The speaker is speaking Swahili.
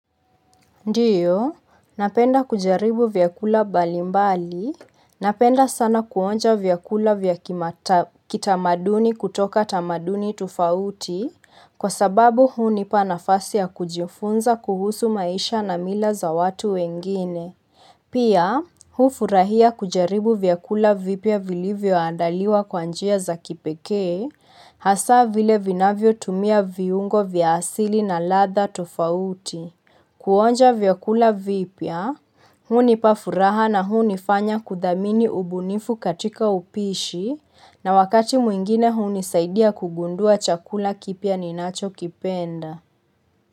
Ndiyo, napenda kujaribu vyakula balimbali, napenda sana kuonja vyakula vya kitamaduni kutoka tamaduni tofauti, kwa sababu hunipa nafasi ya kujifunza kuhusu maisha na mila za watu wengine. Pia, hufurahia kujaribu vyakula vipia vilivyo andaliwa kwanjia za kipekee, hasa vile vinavyo tumia viungo vya asili na latha tofauti. Kuonja vyakula vipya, hunipa furaha na huni fanya kudamini ubunifu katika upishi na wakati mwingine hunisaidia kugundua chakula kipya ninacho kipenda.